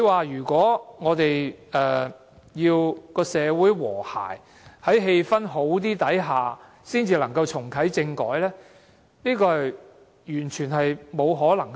如果我們要在社會和諧、氣氛較好的情況下才重啟政改，這是完全不可能的事。